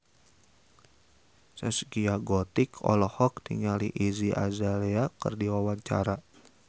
Zaskia Gotik olohok ningali Iggy Azalea keur diwawancara